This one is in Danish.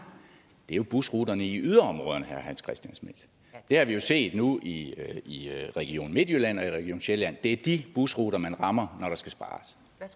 det er jo busruterne i yderområderne herre hans christian schmidt det har vi jo set nu i i region midtjylland og i region sjælland det er de busruter man rammer